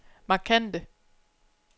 markante